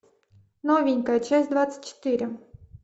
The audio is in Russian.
новенькая часть двадцать четыре